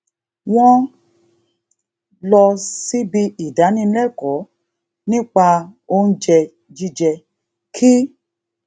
wón um lọ síbi ìdánilékòó nípa oúnjẹ jíjẹ kí